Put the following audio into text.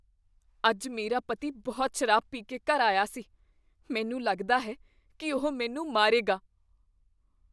ਅੱਜ ਮੇਰਾ ਪਤੀ ਬਹੁਤ ਸ਼ਰਾਬ ਪੀ ਕੇ ਘਰ ਆਇਆ ਸੀ। ਮੈਨੂੰ ਲੱਗਦਾ ਹੈ ਕੀ ਉਹ ਮੈਨੂੰ ਮਾਰੇਗਾ ।